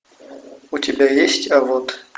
у тебя есть а вот